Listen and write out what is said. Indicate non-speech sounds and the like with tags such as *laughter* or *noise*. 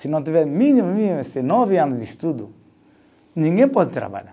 Se não tiver, mínimo, *unintelligible* nove anos de estudo, ninguém pode trabalhar.